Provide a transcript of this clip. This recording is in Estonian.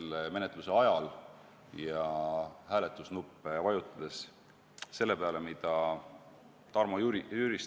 Mõtleme selle menetluse ajal ja hääletusnuppe vajutades selle peale, mida Tarmo Jüristo ütles.